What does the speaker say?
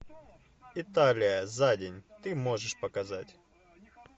италия за день ты можешь показать